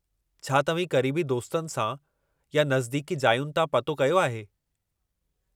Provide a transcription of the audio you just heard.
छा तव्हीं क़रीबी दोस्तनि सां या नज़दीकी जायुनि तां पतो कयो आहे?